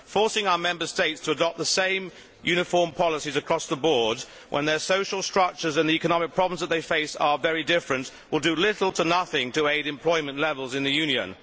Forcing our Member States to adopt the same uniform policies across the board when their social structures and the economic problems they face are very different will do little to nothing to aid employment levels in the Union.